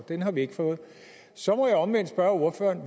den har vi ikke fået så må jeg omvendt spørge ordføreren